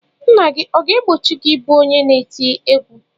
Nna gị ọ ga-egbochi gị ịbụ onye na-eti egwu?